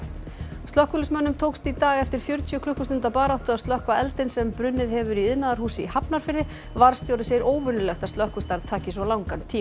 slökkviliðsmönnum tókst í dag eftir fjörutíu klukkustunda baráttu að slökkva eldinn sem brunnið hefur í iðnaðarhúsi í Hafnarfirði varðstjóri segir óvenjulegt að slökkvistarf taki svona langa tíma